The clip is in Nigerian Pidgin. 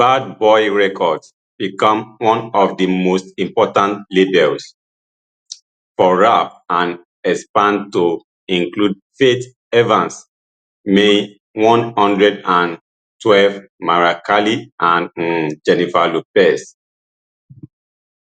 bad boy records become one of di most important labels for rap and expandeto include faith evans mae one hundred and twelve mariah carey and um jennifer lopez